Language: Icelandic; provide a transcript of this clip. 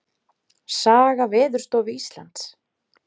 Saga Veðurstofu Íslands.